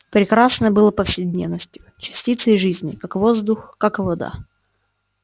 прекрасное было повседневностью частицей жизни как воздух как вода